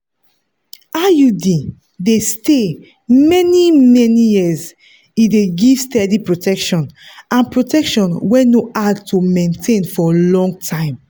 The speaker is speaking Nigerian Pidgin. iud dey stay many-many years e dey give steady protection and protection wey no hard to maintain for long time.